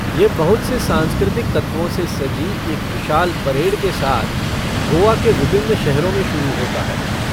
ये बहुत से सांस्कृतिक तत्वों से सजी एक विशाल परेड के साथ गोआ के विभिन्न शहरों में शुरू होता है।